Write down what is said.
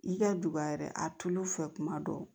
I ka duba yɛrɛ a tulu fɛ tuma dɔw